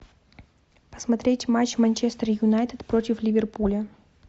посмотреть матч манчестер юнайтед против ливерпуля